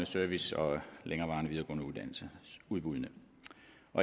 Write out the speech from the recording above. service og længerevarende videregående uddannelses udbuddene